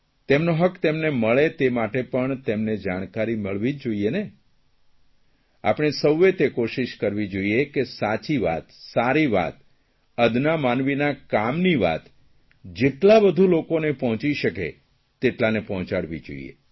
તેમનો હક તેમને મળે તે માટે પણ તેમને જાણકારી મળવી જોઇએ ને આપણે સૌએ તે કોશિશ કરવી જોઇએ કે સાચી વાત સારી વાત અદના માનવીના કામની વાત જેટલા વધુ લોકોને પહોંચી શકે તેટલાને પહોંચાડવી જોઇએ